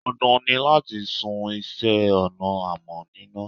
Dandan ni láti sun iṣẹ́ ọnà amọ̀ níná.